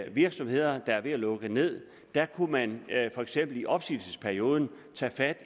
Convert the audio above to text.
i virksomheder der var ved at lukke ned kunne man for eksempel i opsigelsesperioden tage fat